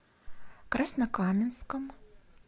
краснокаменском